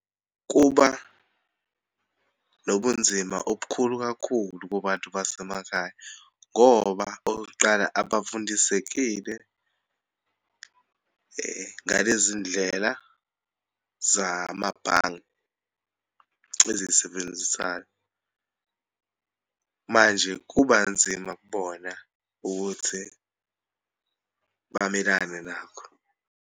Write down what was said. Kuba nobunzima obukhulu kakhulu kubantu basemakhaya, ngoba okokuqala, abafundisekile ngalezi ndlela zamabhange ezisebenzisayo. Manje kuba nzima kubona ukuthi bamelane nakho.